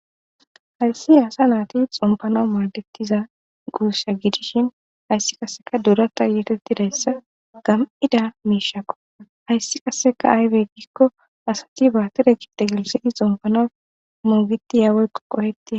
hayssi asa naati xompano maadettiza guussha gidishin hayssi qasseka duurata yeetettidayssa gam7ida miishakqo hayssi kasseka aywe gikko asati baatire kite gilsidi xompana mongiti yaaweyko qoheti